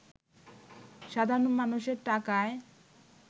সাধারণ মানুষের টাকায়